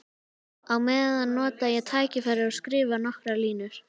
Á meðan nota ég tækifærið og skrifa nokkrar línur.